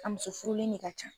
A muso furulen de ka ca.